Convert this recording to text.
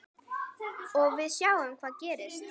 Og við sjáum hvað gerist.